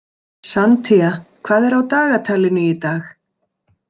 Santía, hvað er á dagatalinu í dag?